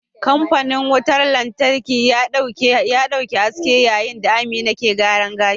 Kamfanin wutar lantarki ya dauki haske yayin da Amina ke gyaran gashi.